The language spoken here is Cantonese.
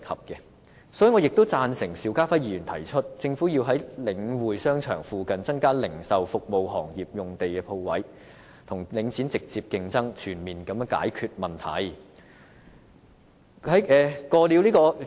所以，我亦贊成邵家輝議員提出，政府要在領展商場附近增加零售、服務行業的用地和鋪位，與領展直接競爭，全面解決問題。